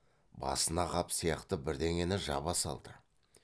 басына қап сияқты бірдеңені жаба салды